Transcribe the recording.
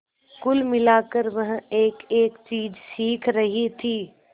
कुल मिलाकर वह एकएक चीज सीख रही थी